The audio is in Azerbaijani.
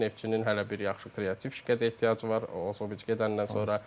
Neftçinin hələ bir yaxşı kreativ şəkə ehtiyacı var, Ozoqviç gedəndən sonra.